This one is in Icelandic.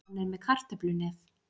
Hann er með kartöflunef.